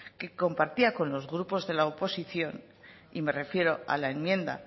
que compartía con los grupos de la oposición y me refiero a la enmienda